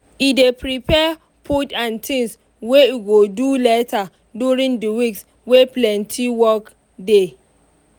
e dey prepare food and things wey e go do later during the weeks wey plenty work dey.